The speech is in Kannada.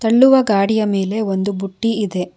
ತಳ್ಳುವ ಗಾಡಿಯ ಮೇಲೆ ಒಂದು ಬುಟ್ಟಿ ಇದೆ.